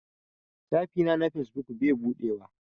Shafi na na fesbuk bai buɗewa.